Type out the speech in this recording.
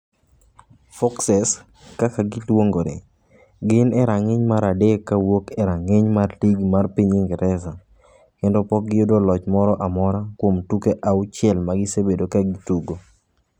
Foxes, kaka giluongore, gin e rang’iny mar adek kowuok e rang’iny mar ligi mar piny Ingresa kendo pok giyudo loch moro amora kuom tuke auchiel ma gisebedo ka gitugo.